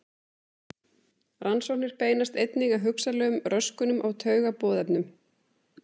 Rannsóknir beinast einnig að hugsanlegum röskunum á taugaboðefnum.